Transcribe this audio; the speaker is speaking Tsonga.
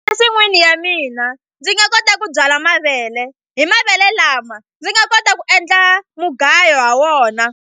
Nsin'wini ya mina ndzi nga kota ku byala mavele hi mavele lama ndzi nga kota ku endla mugayo ha wona.